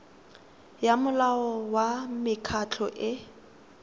ya molao wa mekgatlho e